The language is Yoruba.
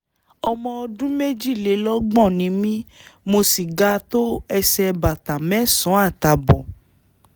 ọmọ ọdún méjìlélọ́gbọ̀n ni mí mo sì ga tó ẹsẹ̀ bàtà mẹ́sàn-án àtààbọ̀